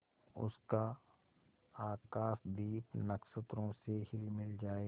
उसका आकाशदीप नक्षत्रों से हिलमिल जाए